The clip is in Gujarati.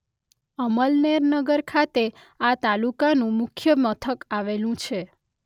અમલનેર નગર ખાતે આ તાલુકાનું મુખ્ય મથક આવેલું છે.